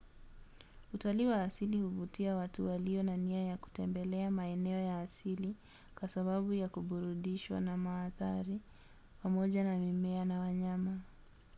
utalii wa asili huvutia watu walio na nia ya kutembelea maeneo ya asili kwa sababu ya kuburudishwa na maadhari pamoja na mimea na wanyama